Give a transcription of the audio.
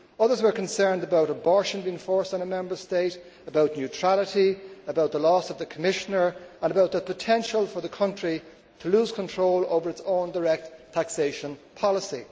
others were concerned about abortion being forced on a Member State, about neutrality, about the loss of the Commissioner and about the potential for the country to lose control over its own direct taxation policy.